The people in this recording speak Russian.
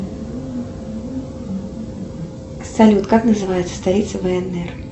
салют как называется столица внр